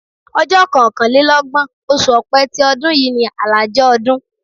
Ọjọ́ kọkànlélọ́gbọ̀n, oṣù Ọ̀pẹ ti ọdún yìí ni àlàjá ọdún.